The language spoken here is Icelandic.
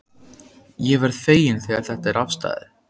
Ég verð feginn þegar þetta er afstaðið.